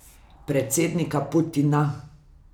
Predsednika Putina.